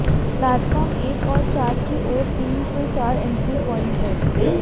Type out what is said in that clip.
platform एक और चार की ओर तीन से चार एन्ट्री प्वॉइन्ट हैं